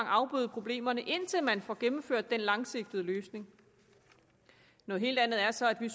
afbøde problemerne indtil man får gennemført den langsigtede løsning noget helt andet er så at vi